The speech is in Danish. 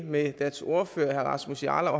med deres ordfører herre rasmus jarlov